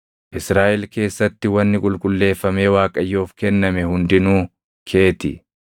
“Israaʼel keessatti wanni qulqulleeffamee Waaqayyoof kenname hundinuu kee ti.